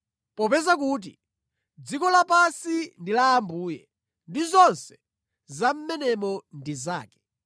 Popeza kuti, “Dziko lapansi ndi la Ambuye ndi zonse za mʼmenemo ndi zake.”